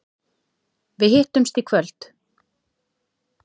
Við hittumst í kvöld.